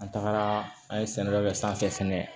An tagara an ye sɛnɛfɛn dɔ sanfɛ fɛnɛ